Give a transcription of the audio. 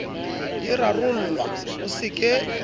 di rarollwa o se ke